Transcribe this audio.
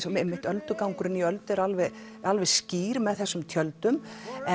og einmitt öldugangurinn í Öldu er alveg alveg skýr með þessum tjöldum